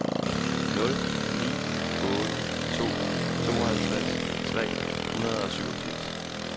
nul ni otte to tooghalvtreds tre hundrede og syvogfirs